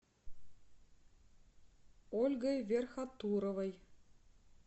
ольгой верхотуровой